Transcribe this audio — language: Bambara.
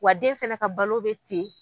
Wa den fana ka balo bɛ ten.